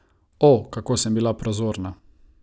O, kako sem bila prozorna.